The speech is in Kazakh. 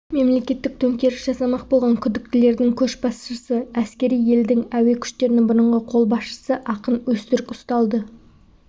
мемлекеттік төңкеріс жасамақ болған күдіктілердің көшбасшысы елдің әскери әуе күштерінің бұрынғы бас қолбасшысы акын өзтүрк ұсталды